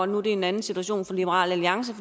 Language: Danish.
nu er det en anden situation for liberal alliance